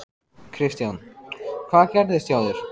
Kristján: Hvað gerðist hjá þér?